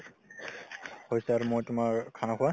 হৈছে আৰু মই তোমাৰ khana খোৱা